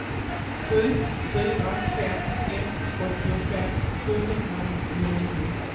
sju fyra fem ett åttiofem sjuhundranittionio